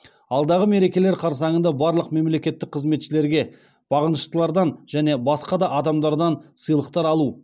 алдағы мерекелер қарсаңында барлық мемлекеттік қызметшілерге бағыныштылардан және басқа да адамдардан сыйлықтар алу